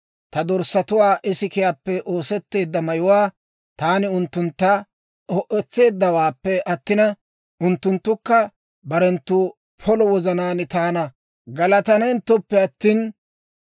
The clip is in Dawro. ta dorssatuwaa ikisiyaappe oosetteedda mayuwaa taani unttuntta ho"etseeddawaappe attin, unttunttukka barenttu polo wozanaan taana galatanenttoppe attin,